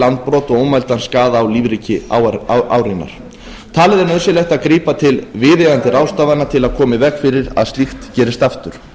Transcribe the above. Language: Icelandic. landbrot og ómældan skaða á lífríki árinnar talið er nauðsynlegt að grípa til viðeigandi ráðstafana til að koma í veg fyrir að slíkt gerist aftur